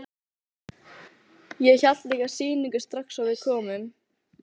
Ég hélt líka sýningu strax og við komum.